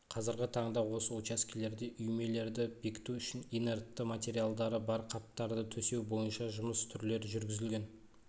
қазіргі таңда осы учаскелерде үймелерді бекіту бойынша инертті материалдары бар қаптарды төсеу бойынша жұмыс түрлері жүргізілген